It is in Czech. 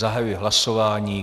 Zahajuji hlasování.